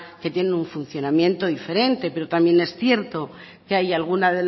que tienen un funcionamiento diferente pero también es cierto que hay algunas